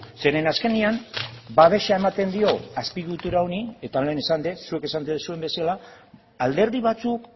zeren azkenean babesa ematen dio azpiegitura honi eta lehen esan dut zuek esan duzuen bezala alderdi batzuk